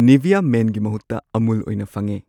Nivea ꯃꯦꯟꯒꯤ ꯃꯍꯨꯠꯇ ꯑꯃꯨꯜ ꯑꯣꯏꯅ ꯐꯪꯉꯦ꯫